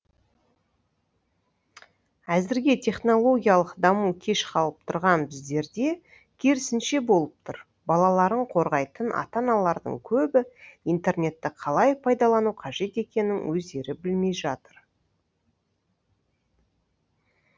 әзірге технологиялық даму кеш қалып тұрған біздерде керісінше болып тұр балаларын қорғайтын ата аналардың көбі интернетті қалай пайдалану қажет екенін өздері білмей жатыр